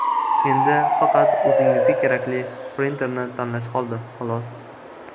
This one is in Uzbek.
Endi faqat o‘zingizga kerakli printerni tanlash qoldi, xolos.